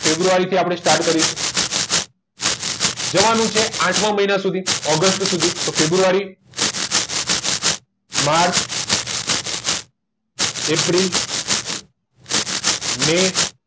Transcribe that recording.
તો ફેબ્રુઆરી થી આપણે સ્ટાર્ટ કરીશુ જવાનું કે આઠ મહિના સુધી તો ફેબ્રુઆરી માર્ચ એપ્રિલ મે